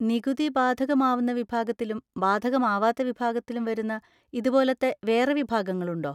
നികുതി ബാധകമാവുന്ന വിഭാഗത്തിലും ബാധകമാവാത്ത വിഭാഗത്തിലും വരുന്ന ഇതുപോലത്തെ വേറെ വിഭാഗങ്ങളുണ്ടോ?